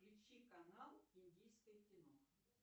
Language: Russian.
включи канал индийское кино